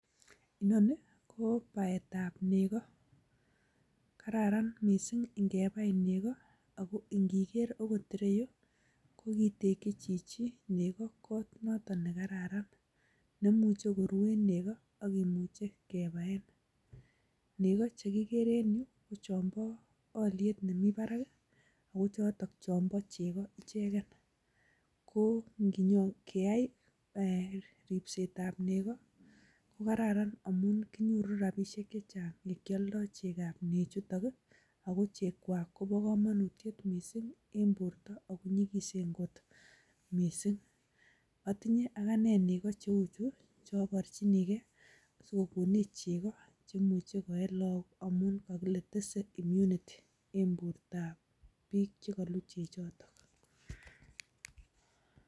Inoni ko baetab nego. Kararan mising ingebai nego ago ingiker agot ireyu, ko kiteki chichi nego koot noton ne kararan ne imuche kuruen nego ak kimuche kibaaen. Nego che kigere en yu ko chonbo olyet nemi barak ago choton chonbo chego ichegen. Ko nginyon keyai ripsetab nego kokararan amun kinyoru rabishek che chang ye kioldo chekab nechuton, ago chekwak ko bo komonutiet mising en borto ago nyigisen kot mising. Otinye agane nego cheu chu ch eoborchini gee asikogonech che imuche koee lagok amun kogile tese immunity en bortab biik che koluu chechoto.